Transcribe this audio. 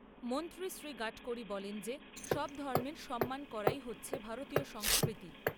মন্ত্ৰী শ্ৰী গাডকাড়ি বলেন যে সব ধর্মের সম্মান করাই হচ্ছে ভারতীয় সংস্কৃতি।